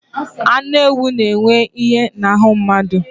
Anụ ewụ na - enye ìhè na ahụ mmadụ.